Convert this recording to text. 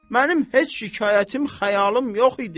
Mənim heç şikayətim, xəyalım yox idi.